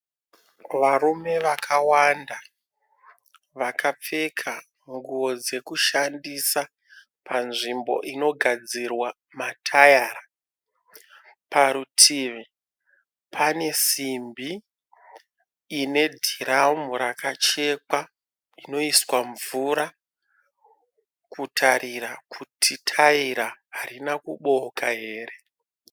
Varume vakawanda vakapfeka nguwo dzekushandisa panzvimbo inogadzirwa matayara parutivi pane dhiramu rakachekwa rinoiswa mvura kutarira kuti taira harina kubooka here.